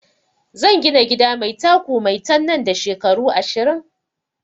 Zan gina gida mai taku maitan nan da shekaru ashirin